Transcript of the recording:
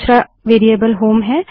दूसरा variable home है